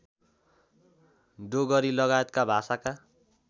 डोगरी लगायतका भाषाका